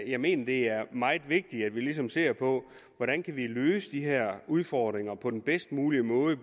jeg mener det er meget vigtigt at vi ligesom ser på hvordan vi kan løfte de her udfordringer på den bedst mulige måde